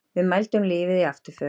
Við mældum lífið í afturför.